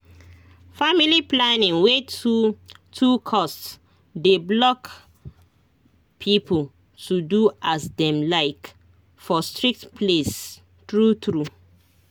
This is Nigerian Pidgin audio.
family planning wey too too cost dey block people to do as dem like for strict place true true